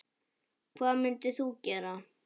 Hvað myndir þú gera?